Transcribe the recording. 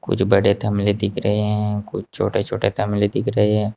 कुछ बड़े थमले दिख रहे हैं कुछ छोटे छोटे थमले दिख रहे हैं।